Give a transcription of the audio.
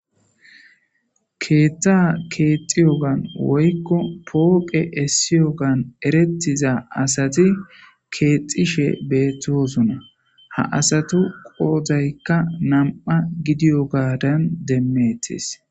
keethta keexxiyogan woykko pooqe essiyogan erettiza asati keexxishe beettosuna ha asatu qoozaykka nam7a gidiyo gaadan demmettis